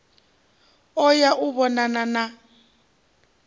u ya u vhonana na